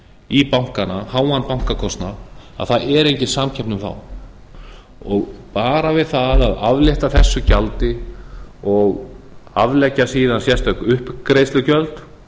í bankana háan bankakostnað það er engin samkeppni um þá bara við það að aflétta þessu gjaldi og aflétta síðan sérstök uppgreiðslugjöld